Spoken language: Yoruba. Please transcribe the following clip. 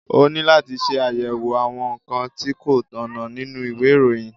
Ó ní láti ṣe àyẹ̀wò àwọn nǹkan tí kò tọ̀nà nínú ìwé ìròyìn